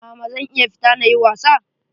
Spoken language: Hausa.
Mama zan iya fita na yi was?